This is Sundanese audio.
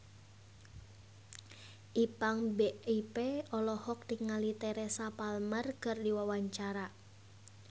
Ipank BIP olohok ningali Teresa Palmer keur diwawancara